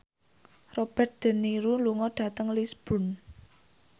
Robert de Niro lunga dhateng Lisburn